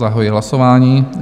Zahajuji hlasování.